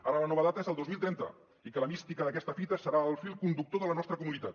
ara la nova data és el dos mil trenta i que la mística d’aquesta fita serà el fil conductor de la nostra comunitat